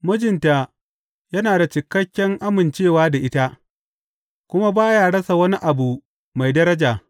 Mijinta yana da cikakken amincewa da ita kuma ba ya rasa wani abu mai daraja.